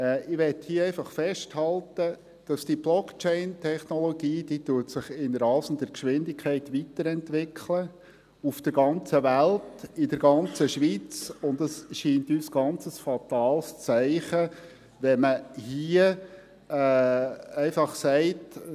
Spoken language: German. Ich möchte hier einfach festhalten, dass diese Blockchain-Technologie sich in rasender Geschwindigkeit weiterentwickelt – auf der ganzen Welt, in der ganzen Schweiz, und es scheint uns ein ganz fatales Zeichen, wenn man hier einfach sagt: